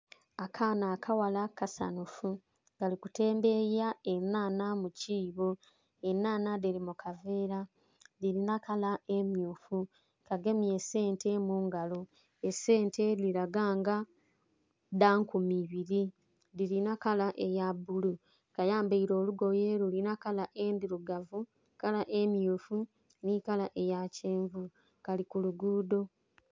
Akaana akaghala kasanhufu kali kutembeya enhanha mu kiibo, enhanha dhili mukaveela dhilinha kala emyufu kyagemye esente mungalo esente dhilaga nga dha nkumi ibiri, dhilina kala eya bbulu, kayambaire olugoye lulinha kala endhirugavu, kala emyufu nhi kala eya kyenvu Kali ku luguudho.